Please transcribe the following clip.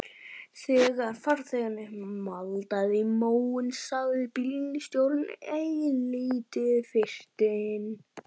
Þegar farþeginn maldaði í móinn sagði bílstjórinn eilítið fyrtinn